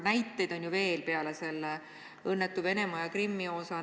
Näiteid on ju veel peale selle õnnetu Venemaa ja Krimmiga seotud juhtumi.